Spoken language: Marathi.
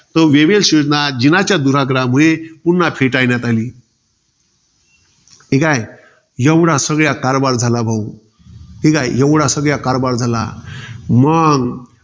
तर वेव्हेला योजना, जिनाच्या दुराग्रहामुळे, पुन्हा फेटाळण्यात आली. ठीकाय. एवढा सगळा कारभार झाला भाऊ. ठीकाय, एवढा सगळा कारभार झाला. मंग